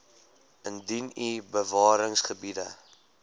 indien u bewaringsgebiede